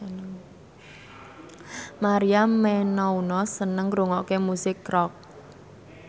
Maria Menounos seneng ngrungokne musik rock